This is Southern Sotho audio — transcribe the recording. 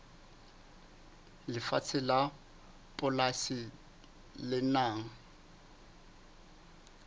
lefatshe la polasi le nang